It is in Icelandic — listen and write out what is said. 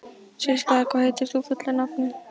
Systa, hvað heitir þú fullu nafni?